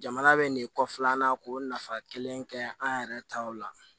Jamana bɛ nin kɔfilan an na k'o nafa kelen kɛ an yɛrɛ taw la